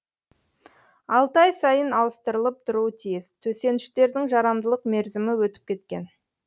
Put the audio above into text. алты ай сайын ауыстырылып тұруы тиіс төсеніштердің жарамдылық мерзімі өтіп кеткен